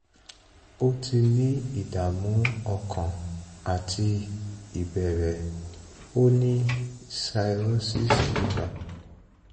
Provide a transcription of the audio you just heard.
ó ti ní ìdààmú ọkàn àti ìbẹ̀rẹ̀ ó ní cs] cirrhosis liver